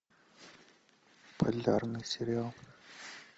полярный сериал